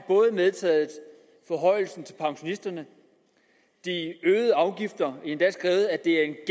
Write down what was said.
medtaget forhøjelsen til pensionisterne de øgede afgifter endda skrevet at det er et